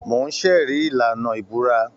Mò ń ṣẹ̀rí ìlànà ìbúra